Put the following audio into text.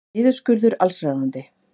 Niðurskurður allsráðandi